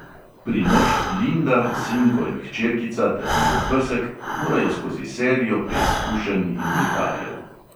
Primož, linda, sinko in hčerkica ter njun pesek morajo skozi serijo preizkušenj in viharjev.